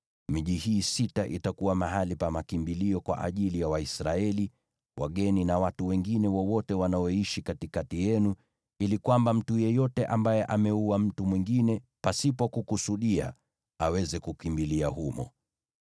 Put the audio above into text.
Miji hii sita itakuwa mahali pa makimbilio kwa ajili ya Waisraeli, wageni na watu wengine wanaoishi katikati yenu, ili kwamba mtu yeyote ambaye ameua mtu mwingine pasipo kukusudia aweze kukimbilia humo.